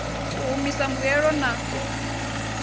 u humisa mbuelo na u